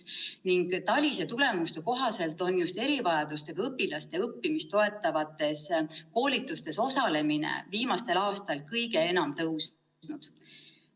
TALIS-e tulemuste kohaselt on just erivajadustega õpilaste õppimist toetavates koolitustes osalemine viimastel aastatel kõige enam tõusnud.